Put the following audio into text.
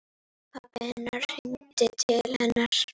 Pabbi hennar hringdi til hennar.